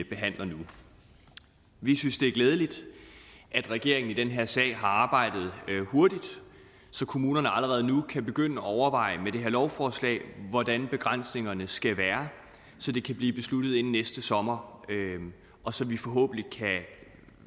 behandler nu vi synes det er glædeligt at regeringen i den her sag har arbejdet hurtigt så kommunerne allerede nu kan begynde at overveje med det her lovforslag hvordan begrænsningerne skal være så det kan blive besluttet inden næste sommer og så vi forhåbentlig